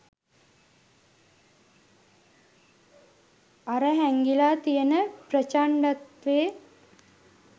අර හැංගිලා තියෙන ප්‍රචණ්ඩත්වේ